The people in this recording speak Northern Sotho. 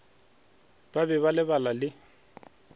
ba be ba lebala le